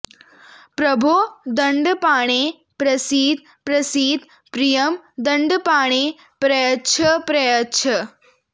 प्रभो दण्डपाणे प्रसीद प्रसीद प्रियं दण्डपाणे प्रयच्छ प्रयच्छ